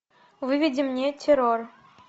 выведи мне террор